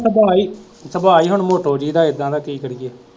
ਸੁਭਾਅ ਹੀ ਹੁਣ ਮੋਟੋ ਜੀ ਦਾ ਏਦਾਂ ਦਾ ਕਿ ਕਰੀਏ